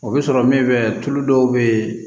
O bɛ sɔrɔ min fɛ tulu dɔw bɛ yen